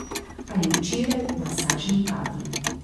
Ali včeraj v masažni kadi.